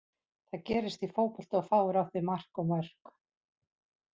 Það gerist í fótbolta að þú fáir á þig mark og mörk.